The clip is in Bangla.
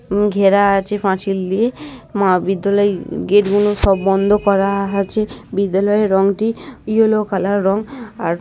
ঘেরা আছে পাঁচিল দিয়ে মহাবিদ্যালয় গেট গুলো সব বন্ধ ক-আ-রা আছে বিদ্যালয়ের রংটি ইয়েলো কালার রং আর--